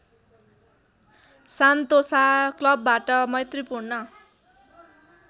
Sentosa क्लबबाट मैत्रीपूर्ण